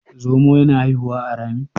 zomo yana haihuwa a Rami?